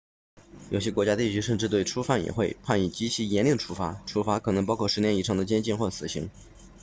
有些国家地区甚至对初犯也会判以极其严厉的处罚处罚可能包括10年以上的监禁或死刑